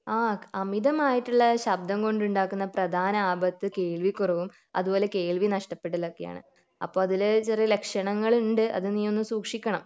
ആഹ് അമിതമായിട്ടുള്ള ശബ്ദം കൊണ്ട് ഉണ്ടാകുന്ന പ്രധാന ആപത്ത് കേൾവിക്കുറവും അതുപോലെ കേൾവി നഷ്ടപ്പെടലും ഒക്കെയാണ് അപ്പൊ അതിൽ ചെറിയ ലക്ഷണങ്ങൾ ഉണ്ട് അത് നീ ഒന്ന് സൂക്ഷിക്കണം